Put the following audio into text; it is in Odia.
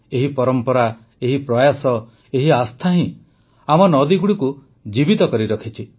ଏହି ପରମ୍ପରା ଏହି ପ୍ରୟାସ ଏହି ଆସ୍ଥା ହିଁ ଆମ ନଦୀଗୁଡ଼ିକୁ ଜୀବିତ କରି ରଖିଛି